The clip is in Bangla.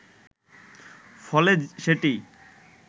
ফলে সেটি